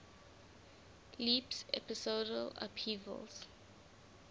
leaps episodal upheavals